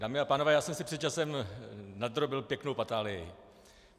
Dámy a pánové, já jsem si před časem nadrobil pěknou patálii.